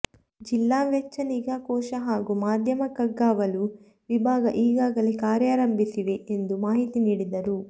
ಜಿಲ್ಲಾ ವೆಚ್ಚ ನಿಗಾ ಕೋಶ ಹಾಗೂ ಮಾಧ್ಯಮ ಕಣ್ಗಾವಲು ವಿಭಾಗ ಈಗಾಗಲೇ ಕಾರ್ಯಾರಂಭಿಸಿವೆ ಎಂದು ಮಾಹಿತಿ ನೀಡಿದರು